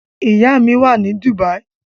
Ìyá mi wà ní Dubai.